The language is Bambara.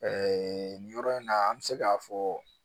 nin yɔrɔ in na an bɛ se k'a fɔ